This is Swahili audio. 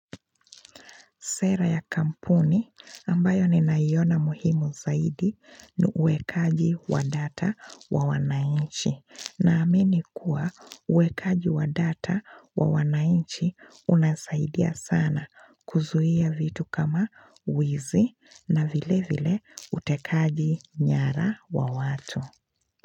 Sera ya kampuni ambayo ninaiona muhimu zaidi ni uwekaji wa data wa wanainchi na amini kuwa uwekaji wa data wa wanainchi unasaidia sana kuzuia vitu kama wizi na vile vile utekaji nyara wa watu.